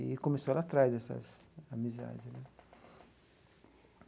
E começou lá atrás essas amizades né.